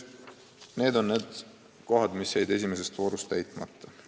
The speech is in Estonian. Need on kohad, mis jäid esimeses voorus täitmata.